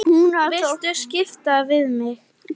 Viltu skipta við mig?